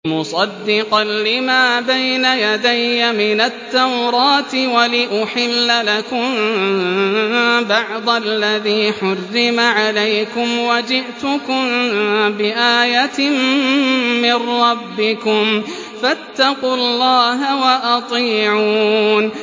وَمُصَدِّقًا لِّمَا بَيْنَ يَدَيَّ مِنَ التَّوْرَاةِ وَلِأُحِلَّ لَكُم بَعْضَ الَّذِي حُرِّمَ عَلَيْكُمْ ۚ وَجِئْتُكُم بِآيَةٍ مِّن رَّبِّكُمْ فَاتَّقُوا اللَّهَ وَأَطِيعُونِ